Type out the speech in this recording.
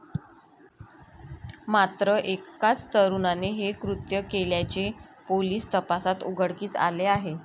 मात्र एकाच तरुणाने हे कृत्य केल्याचे पोलीस तपासात उघडकीस आले आहे.